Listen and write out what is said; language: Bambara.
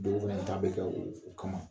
Dɔw fɛnɛ bɛ ta bɛ kɛ u kama